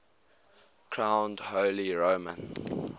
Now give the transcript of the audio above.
crowned holy roman